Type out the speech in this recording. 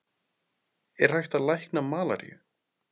Er hægt að lækna malaríu?